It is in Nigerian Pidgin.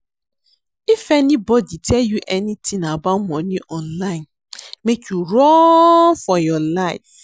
If anybody tell you anything about money online make you run for your life